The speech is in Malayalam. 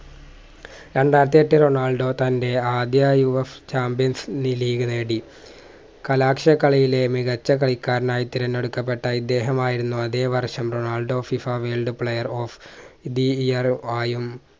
രണ്ടായിരത്തിയെട്ടിൽ റൊണാൾഡോ തന്റെ ആദ്യ UFchampions league നേടി കലാശ കളിയിലെ മികച്ച കളിക്കാരനായി തിരഞ്ഞെടുക്കപ്പെട്ട ഇദ്ദേഹം ആയിരുന്നു അതേ വർഷം Ronaldo FIFA world player of the year ആയും